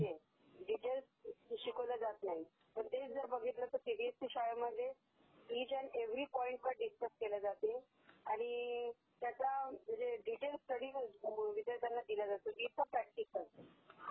details शिकवलं जात नाही तेच जर बघितलं तर सीबीएससी शाळेमध्ये इच ऍंड एव्ह्री पॉइंटपण डीस्कस केला जातो आणि त्याचा स्टडी म्हणजे विद्यार्थांना दीला जातो विथ प्रॅक्टीकल